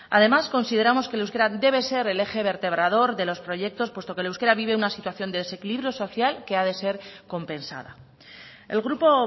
además consideramos que el euskera debe ser el eje vertebrador de los proyectos puesto que el euskera vive una situación de desequilibrio social que ha de ser compensada el grupo